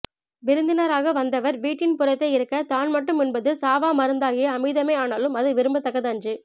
விருந்தினராக வந்தவர் வீட்டின் புறத்தே இருக்கத் தான் மட்டும் உண்பது சாவாமருந்தாகிய அமிழ்தமே ஆனாலும் அது விரும்பத்தக்கது அன்று